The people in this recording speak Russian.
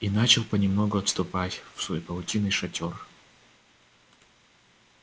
и начал понемногу отступать в свой паутинный шатёр